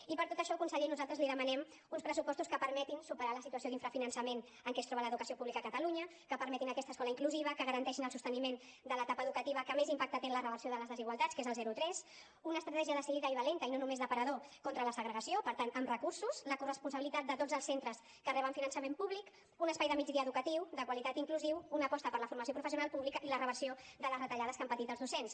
i per tot això conseller nosaltres li demanem uns pressupostos que permetin superar la situació d’infrafinançament en què es troba l’educació pública a catalunya que permetin aquesta escola inclusiva que garanteixin el sosteniment de l’etapa educativa que més impacte té en la reversió de les desigualtats que és el zero tres una estratègia decidida i valenta i no només d’aparador contra la segregació per tant amb recursos la corresponsabilitat de tots els centres que reben finançament públic un espai de migdia educatiu de qualitat i inclusiu una aposta per la formació professional pública i la reversió de les retallades que han patit els docents